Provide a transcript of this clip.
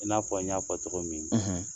I n'a fɔ n y'a fɔ cɔgɔ min